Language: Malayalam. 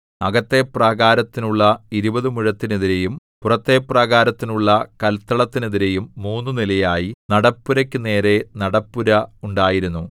അകത്തെ പ്രാകാരത്തിനുള്ള ഇരുപതു മുഴത്തിനെതിരെയും പുറത്തെ പ്രാകാരത്തിനുള്ള കല്ത്തളത്തിനെതിരെയും മൂന്നു നിലയായി നടപ്പുരയ്ക്കു നേരെ നടപ്പുര ഉണ്ടായിരുന്നു